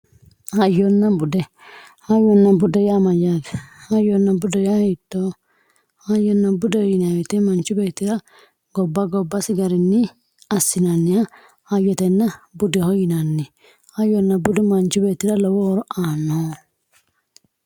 Hayyona bude hayyona bude yaa mayate hayona bude hiitoho hayona budeho yinemo woyite manchi betira goba gobasi garini asinaniha hayyona budeho yinani hayona budu manchi betira lowo horo aano